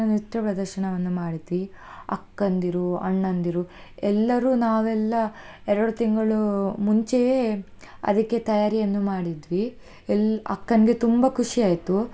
ನೃತ್ಯ ಪ್ರದರ್ಶನವನ್ನು ಮಾಡಿದ್ವಿ, ಅಕ್ಕಂದಿರು, ಅಣ್ಣಂದಿರು ಎಲ್ಲರೂ ನಾವೆಲ್ಲ, ಎರಡು ತಿಂಗಳು ಮುಂಚೆಯೇ ಅದಿಕ್ಕೆ ತಯಾರಿ ಅನ್ನು ಮಾಡಿದ್ವಿ ಎಲ್~ ಅಕ್ಕನ್ಗೆ ತುಂಬಾ ಖುಷಿ ಆಯ್ತು.